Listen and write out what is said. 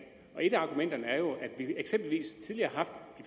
og et af argumenterne er jo at vi eksempelvis tidligere